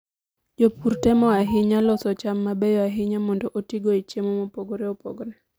Jopur temo ahinya loso cham mabeyo ahinya mondo otigo e chiemo mopogore opogore.